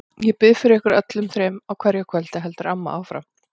Ég bið fyrir ykkur öllum þrem á hverju kvöldi, heldur amma áfram.